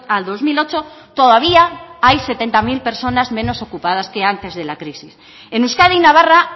al dos mil ocho todavía hay setenta mil personas menos ocupadas que antes de la crisis en euskadi y navarra